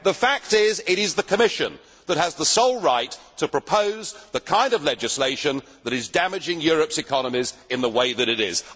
The fact is that the Commission has the sole right to propose the kind of legislation that is damaging Europe's economies in the way that it is.